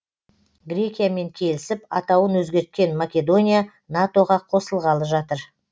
грекиямен келісіп атауын өзгерткен македония нато ға қосылғалы жатыр